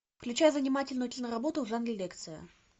включай занимательную киноработу в жанре лекция